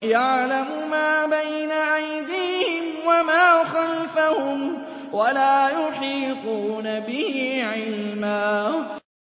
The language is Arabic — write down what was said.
يَعْلَمُ مَا بَيْنَ أَيْدِيهِمْ وَمَا خَلْفَهُمْ وَلَا يُحِيطُونَ بِهِ عِلْمًا